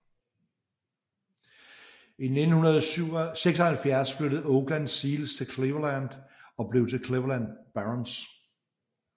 I 1976 flyttede Oakland Seals til Cleveland og blev til Cleveland Barons